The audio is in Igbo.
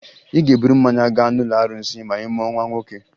Ị ga-eburu mmanya gaa n'ụlọ arụsị ma ị mụọ nwa nwoke